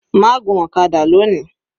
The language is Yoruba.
Má gun ọ̀kadà lóni.